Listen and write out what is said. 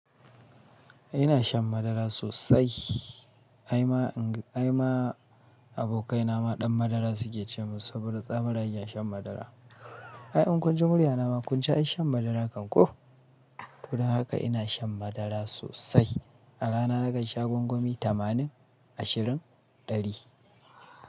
Ina shan madara sosai. Ai ma, ai ma abokaina ma ɗan madara suke ce min saboda tsabarage a shan madara. Ai in kun ji muryana ma kun ji ai shan madaran kan ko? Don haka ina shan madara sosai. A rana nakan sha gwangwami tamanin, ashirin, ɗari.